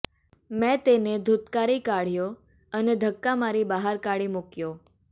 મેં તેને ધુત્કારી કાઢયો અને ધક્કા મારી બહાર કાઢી મૂકયો